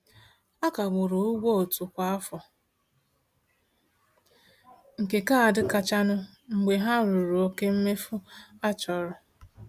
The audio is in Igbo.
A kagburu ụgwọ otu kwa afọ nke kaadị kachanụ mgbe ha ruru oke mmefu a chọrọ.